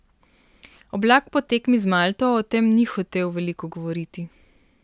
Oblak po tekmi z Malto o tem ni hotel veliko govoriti.